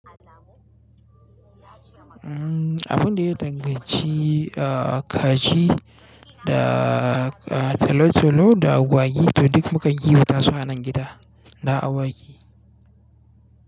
Abun da ya danganci ahh kaji da tolo-tolo da agwagi, to duk mukan kiwa tasu anan gida da agwagi.